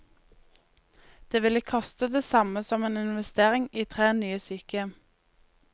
Det ville koste det samme som en investering i tre nye sykehjem.